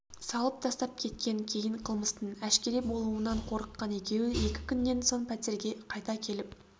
салып тастап кеткен кейін қылмыстың әшкере болуынан қорыққан екеуі екі күннен соң пәтерге қайта келіп